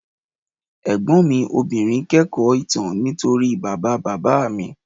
Ẹ̀gbọ́n mi obìnrin kẹ́kọ̀ọ́ ìtàn nítorí bàbá bàbá mi